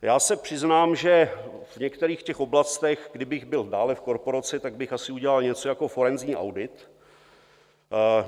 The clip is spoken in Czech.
Já se přiznám, že v některých těch oblastech, kdybych byl dále v korporaci, tak bych asi udělal něco jako forenzní audit.